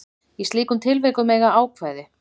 Í slíkum tilvikum eiga ákvæði